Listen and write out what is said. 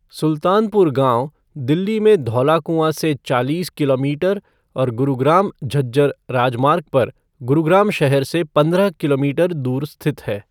सुल्तानपुर गाँव दिल्ली में धौला कुआँ से चालीस किलोमीटर और गुरुग्राम झज्जर राजमार्ग पर गुरुग्राम शहर से पंद्रह किलोमीटर दूर स्थित है।